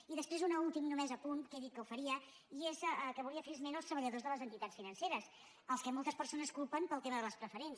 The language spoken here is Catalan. i després un últim només apunt que he dit que ho faria i és que volia fer esment dels treballadors de les entitats financeres als quals moltes persones culpen pel tema de les preferents